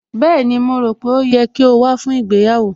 Bẹ́ẹ̀ni, mo rò pé ó yẹ kí o wá fún ìgbéyàwó